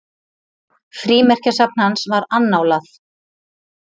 Frímerkjasafn hans var annálað.